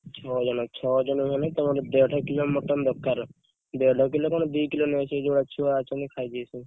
ଛଅ ଜଣ ଛଅ ଜଣ ହେଲେ ତମର ଦେଡ କିଲେ mutton ଦରକାର ଦେଡ କିଲେ କଣ, ଦି କିଲେ ନେଇଆସିବ, ସେ ଯଉ ଭଳିଆ ଛୁଆ ଅଛନ୍ତି ଖାଇ ଯିବେ ସବୁ।